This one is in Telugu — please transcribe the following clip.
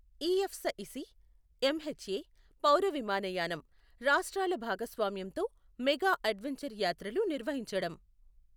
ఇఎఫ్సఇసి, ఎంహెచ్ఎ, పౌరవిమానయానం, రాష్ట్రాల భాగస్వామ్యంతో మెగా అడ్వంచర్ యాత్రలు నిర్వహించడం.